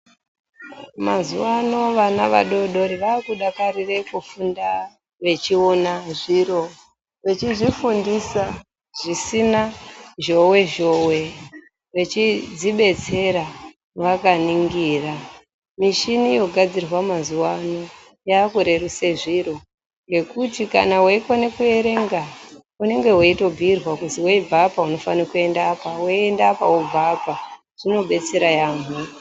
Mazuva ano vana vadodori vakudakarira kufunda vechiona zviro vechizvifundisa zvisina zhowe zhowe vechizvidetsera vakaningira. Mishini yogadzirwa mazuva ano yakurerusa zviro ngekuti kana weikona kuerenga unenge weitobhirwa kuti weibva ofane kuchienda apa weienda apa unenge uchibve apa zvinodetsera yambo.